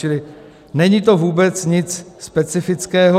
Čili není to vůbec nic specifického.